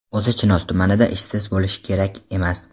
O‘zi Chinoz tumanida ishsiz bo‘lishi kerak emas.